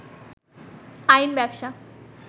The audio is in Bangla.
আইন ব্যবসা